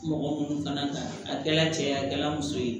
Mɔgɔ minnu kana taa a kɛra cɛ ye a kɛ la muso ye